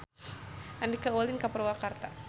Andika ulin ka Purwakarta